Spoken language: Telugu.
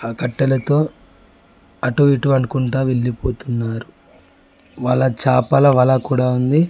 ఆ కట్టెలతో అటు ఇటు అనుకుంటా వెళ్ళిపోతున్నారు వాళ్ళ చాపల వల కూడా ఉంది.